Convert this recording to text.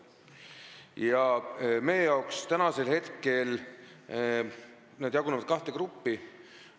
Ja meie jaoks jagunevad nad kahte gruppi.